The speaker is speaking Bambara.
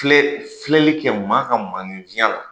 Filɛ filɛlikɛ maa ka maanifinya la